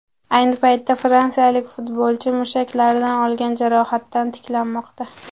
Ayni paytda fransiyalik futbolchi mushaklaridan olgan jarohatidan tiklanmoqda .